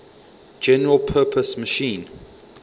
general purpose machine